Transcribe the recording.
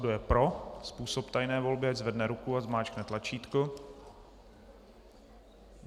Kdo je pro způsob tajné volby, ať zvedne ruku a zmáčkne tlačítko.